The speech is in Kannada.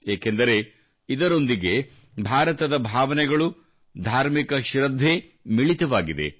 ಏಕೆಂದರೆ ಇದರೊಂದಿಗೆ ಭಾರತದ ಭಾವನೆಗಳು ಧಾರ್ಮಿಕ ಶೃದ್ಧೆ ಮಿಳಿತವಾಗಿದೆ